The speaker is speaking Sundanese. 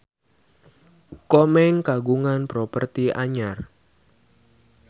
Komeng kagungan properti anyar